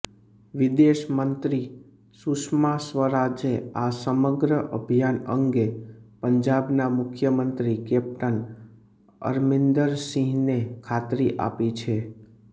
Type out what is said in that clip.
વિદેશમંત્રી સુષમા સ્વરાજે આ સમગ્ર અભિયાન અંગે પંજાબના મુખ્યમંત્રી કેપ્ટન અરમિંદરસિંહને ખાતરી આપી છે